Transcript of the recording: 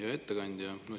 Hea ettekandja!